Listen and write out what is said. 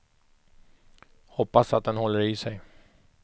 Hoppas att den håller i sig.